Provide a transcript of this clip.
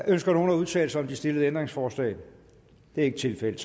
ønsker nogen at udtale sig om de stillede ændringsforslag det er ikke tilfældet